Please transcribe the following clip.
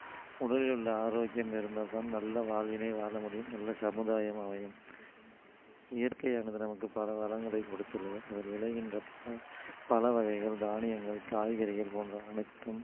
உடலில் உள்ள ஆரோக்கியம் இருந்தால் தான் நல்ல வாழ்வினை வாழ முடியும் நல்ல சமுதாயம் அமையும் இயற்கை ஆனது நமக்கு பல வரங்களை கொடுத்துள்ளது அதில் விளைகின்ற ப~பழ வகைகள் தானியங்கள் காய்கறிகள் போன்ற அனைத்தும்